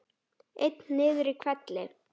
Einn niður í hvelli.